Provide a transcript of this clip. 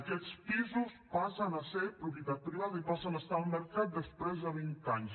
aquests pisos passen a ser propietat privada i passen a estar al mercat després de vint anys